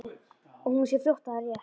Og hún sér fljótt að það er rétt.